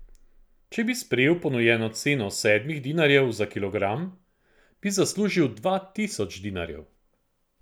Če bi sprejel ponujeno ceno sedmih dinarjev za kilogram, bi zaslužil dva tisoč dinarjev.